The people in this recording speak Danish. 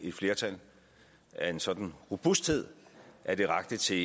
et flertal af en sådan robusthed at det rakte til